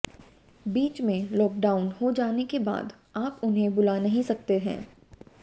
बीच में लॉकडाउन हो जाने के बाद आप उन्हें बुला नहीं सकते हैं